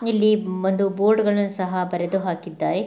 ಇಲ್ಲಿ ಒಂದು ಬೋರ್ಡ್ ಗಳನ್ನೂ ಸಹ ಬರೆದು ಹಾಕಿದ್ದಾರೆ.